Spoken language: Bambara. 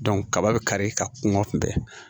kaba be kari ka kungo kunbɛn